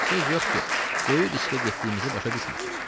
Söz yox ki, böyük riskə getdiyimizi başa düşmürsüz.